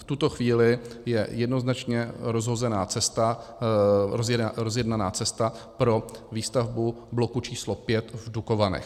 V tuto chvíli je jednoznačně rozjednaná cesta pro výstavbu bloku číslo 5 v Dukovanech.